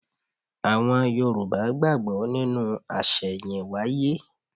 Àwọn Yorùbá gbàgbọ́ nínú àṣẹ̀yìnwáyé.